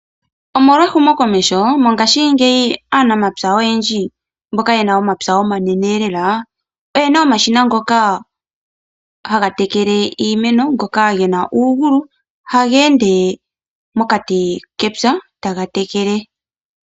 Omolwa ehumokomeho mongaashingeyi aanamapya oyendji mboka yena omapya omanene lela oye na omashina ngoka haga tekele iimeno ngoka gena uugulu, taga ende mokati kepya taga tekele.